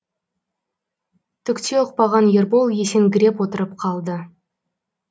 түкте ұқпаған ербол есеңгіреп отырып қалды